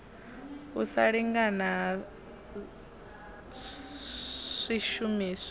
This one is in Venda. u sa lingana ha swishumiswa